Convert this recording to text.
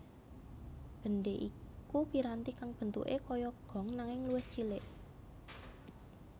Bendhe iku piranti kang bentuke kaya gong nanging luwih cilik